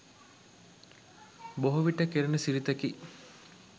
බොහෝ විට කෙරෙන සිරිතකි